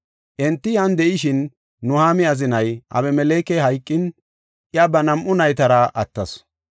Enti yan de7ishin Nuhaami azinay Abemelekey hayqin, iya ba nam7u naytara attasu.